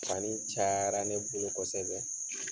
Fani caayara ne bolo kosɛbɛ